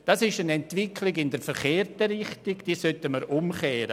Diese Entwicklung geht in die verkehrte Richtung, und wir sollten sie umkehren.